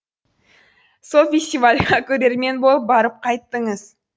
сол фестивальге көрермен болып барып қайттыңыз